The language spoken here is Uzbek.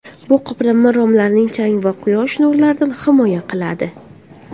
Bu qoplama romlarni chang va quyosh nurlaridan himoya qiladi.